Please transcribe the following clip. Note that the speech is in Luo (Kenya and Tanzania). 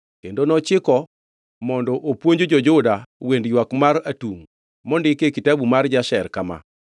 kendo nochiko mondo opuonj jo-Juda wend ywak mar atungʼ mondiki e Kitabu mar Jasher kama: